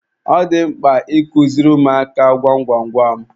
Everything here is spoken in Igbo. Ọ dị mkpa I kuziri ụmụaka gwam gwam gwam.